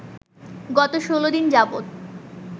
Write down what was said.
গত ১৬ দিন যাবত